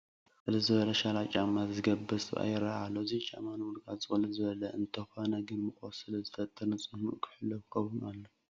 ቅልል ዝበለ ሸራ ጫማ ይገበረ ሰብ ይርአ ኣሎ፡፡ እዚ ጫማ ንምርጋፁ ቅልል ዝበለ እዩ፡፡ እንተኾነ ግን ሙቐት ስለዝፈጥራ ንፅህንኡ ሕልው ክኸውን ኣለዎ፡፡